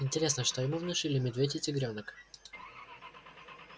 интересно что ему внушили медведь и тигрёнок